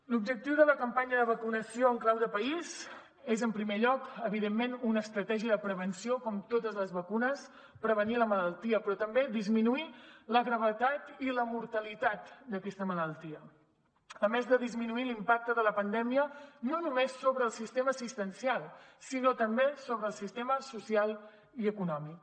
l’objectiu de la campanya de vacunació en clau de país és en primer lloc evidentment una estratègia de prevenció com totes les vacunes prevenir la malaltia però també de disminuir la gravetat i la mortalitat d’aquesta malaltia a més de disminuir l’impacte de la pandèmia no només sobre el sistema assistencial sinó també sobre el sistema social i econòmic